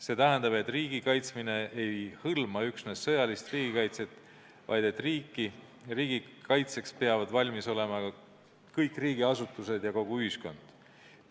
See tähendab, et riigi kaitsmine ei hõlma üksnes sõjalist kaitset, vaid et riigikaitseks peavad valmis olema kõik riigiasutused ja kogu ühiskond.